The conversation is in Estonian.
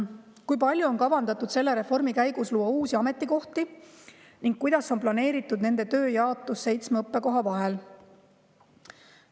"Kui palju on kavandatud selle reformi käigus luua uusi ametikohti ning kuidas on planeeritud nende töö jaotus seitsme õppekoha vahel?